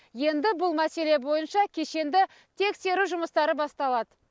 енді бұл мәселе бойынша кешенді тексеру жұмыстары басталады